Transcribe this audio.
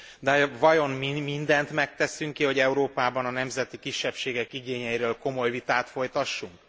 De vajon mi mindent megteszünk, hogy Európában a nemzeti kisebbségek igényeiről komoly vitát folytassunk?